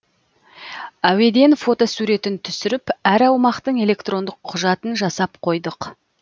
әуеден фотосуретін түсіріп әр аумақтың электрондық құжатын жасап қойдық